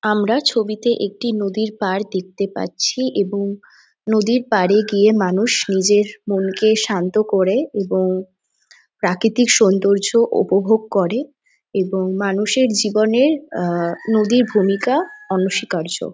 আমরা ছবিতে একটি নদীর পার দেখতে পাচ্ছি এবং নদীর পার এ গিয়ে মানুষ নিজের মনকে শান্ত করে। এবং প্রাকৃতিক সৌন্দর্য উপভোগ করে এবং মানুষের জীবনে আঁ নদীর ভূমিকা অনসীকার্য।